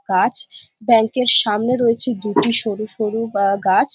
কাঁচ ব্যাংক এর সামনে রয়েছে দুটি সরু সরু বা গাছ।